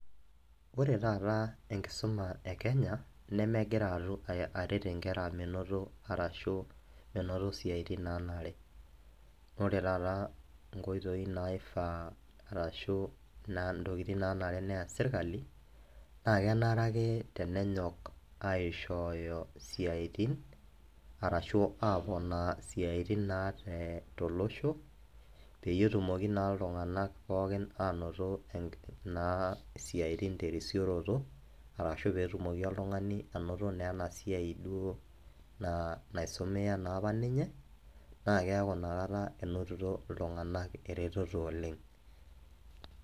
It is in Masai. Ore taata enkisuma e kenya nemegira aret nkera menoto arashu menoto siatin nanare ,ore taatankoitoi naifaa arashu ntokitin nanare neya serkali na kenare ake tenenyor aishooyo siatin arashu aponaa siatin naa te tolosho, peyie etumoki na ltunganak pookin anoto siatin terisioroto arashu oetumoki na oltungani ainoto na enasiai naisumia naapaninye nakeaku inakata inototo ltunganak eretoto oleng.